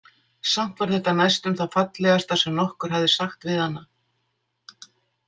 Samt var þetta næstum það fallegasta sem nokkur hafði sagt við hana.